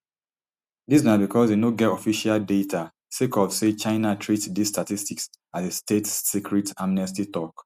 dis na becos e no get official data sake of say china treat dis statistics as a state secret amnesty tok